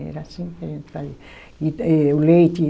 Era assim que a gente fazia. E eh o leite